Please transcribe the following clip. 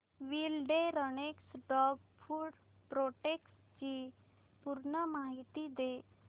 wilderness dog food products ची पूर्ण माहिती दे